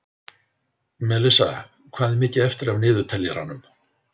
Melissa, hvað er mikið eftir af niðurteljaranum?